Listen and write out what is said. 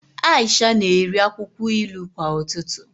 Aisha na-eri akwụkwọ ilu kwa ụtụtụ